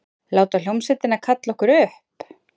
Láta hljómsveitina kalla okkur upp?